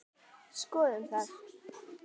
Skoðum það.